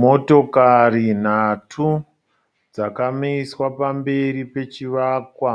Motokari nhatu dzakamiswa pamberi pechivakwa